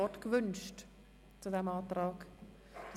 Wird das Wort zu diesem Antrag gewünscht?